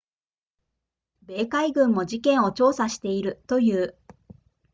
米海軍も事件を調査しているという